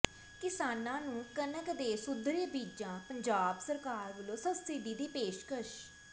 ਕਿਸਾਨਾਂ ਨੂੰ ਕਣਕ ਦੇ ਸੁਧਰੇ ਬੀਜਾਂ ਪੰਜਾਬ ਸਰਕਾਰ ਵਲੋਂ ਸਬਸਿਡੀ ਦੀ ਪੇਸ਼ਕਸ਼